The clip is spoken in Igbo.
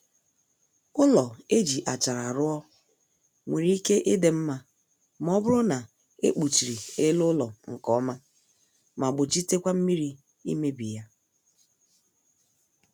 Ụlọ e ji achara ruo nwere ike ịdị nma ma ọ bụrụ na e kpuchiri ele ụlọ nkọma ma gbochitekwa mmiri imebi ya